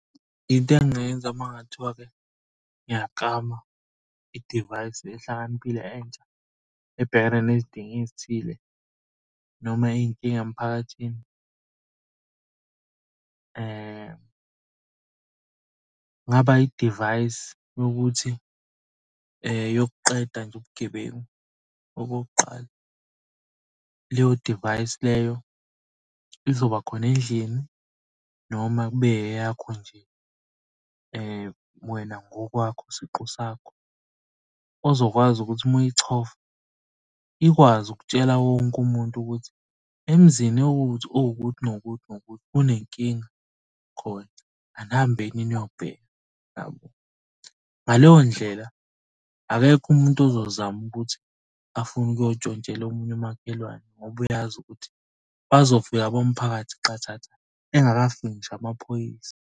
Into engingayenza uma kungathiwa-ke ngiyaklama idivayisi ehlakaniphile entsha ebhekene nezidingo ezithile noma iy'nkinga emphakathini. Kungaba idivayisi yokuthi yokuqeda nje ubugebengu. Okokuqala leyo divayisi leyo izobakhona endlini noma kube eyakho nje wena ngokwakho siqu sakho. Ozokwazi ukuthi uma uyichofa ikwazi ukutshela wonke umuntu ukuthi emzini ewukuthi owukuthi nokuthi nokuthi unenkinga khona anihambeni niyobheka. Ngaleyo ndlela, akekho umuntu ozozama ukuthi afune ukuyontshontshela omunye umakhelwane ngoba uyazi ukuthi bazofika bomphakathi qathatha engakafiki ngisho amaphoyisa.